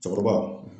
Cɛkɔrɔba